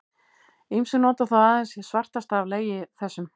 Ýmsir nota þó aðeins hið svartasta af legi þessum.